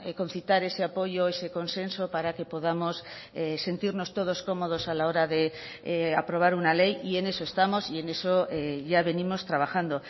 concitar ese apoyo ese consenso para que podamos sentirnos todos cómodos a la hora de aprobar una ley y en eso estamos y en eso ya venimos trabajando